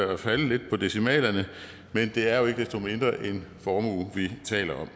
og falde lidt på decimalerne men det er jo ikke desto mindre en formue vi taler om